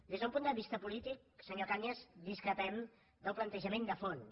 des d’un punt de vista polític senyor cañas discrepem del plantejament de fons